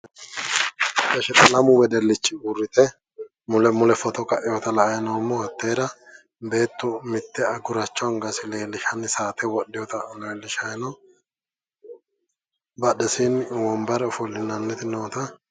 lamu wedellichi uurrite mule mule footo kainota la'anni noommo hatteera beettu mitte guracho angasi leellishanni saate wodhinota leellishanni no badhesiinni wonbare ofo'linaniti noota.